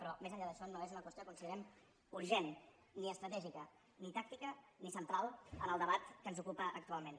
però més enllà d’això no és una qüestió considerem urgent ni estratègica ni tàctica ni central en el debat que ens ocupa actualment